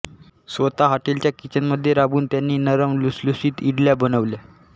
स्वतः हॉटेलच्या किचनमध्ये राबून त्यांनी नरम लुसलुशीत इडल्या बनवल्या